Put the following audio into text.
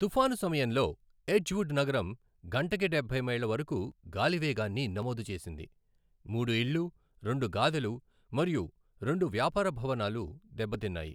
తుఫాను సమయంలో ఎడ్జ్వుడ్ నగరం గంటకి డబ్బై మైళ్ళ వరకు గాలి వేగాన్ని నమోదు చేసింది, మూడు ఇళ్లు, రెండు గాదెలు మరియు రెండు వ్యాపార భవనాలు దెబ్బతిన్నాయి.